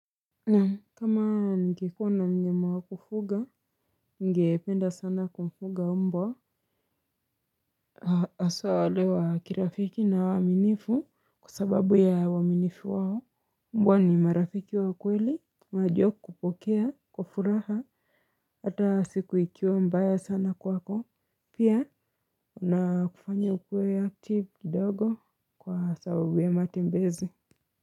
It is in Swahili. Naam kama nikikuwa na mnyama wa kufuga, ningependa sana kumfuga mbwa. Haswa walio wa kirafiki na waaminifu kwasababu ya uaminifu wao. Mbwa ni marafiki wa kweli, wanajua kupokea, kwa kufuraha, hata siku ikiwe mbaya sana kwako. Pia, na kufanya ukuwe ya tip kidogo kwa sababu ya matembezi.